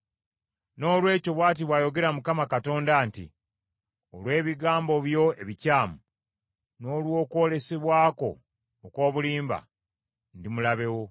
“ ‘Noolwekyo bw’ati bw’ayogera Mukama Katonda nti, olw’ebigambo byo ebikyamu n’olw’okwolesebwa kwo okw’obulimba, ndi mulabe wo.